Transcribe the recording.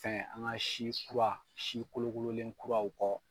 fɛn an ka si kura si kolo kololen kuraw kɔ.